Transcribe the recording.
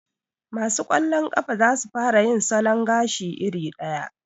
Ma su kwallon ƙafa za su fara yin salon gashi iri ɗaya